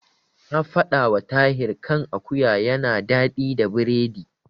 Na faɗawa Tahir kan akuwa yana daɗi da biredi.